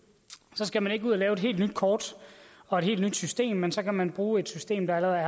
så skal man ikke ud og lave et helt nyt kort og et helt nyt system men så kan man bruge et system der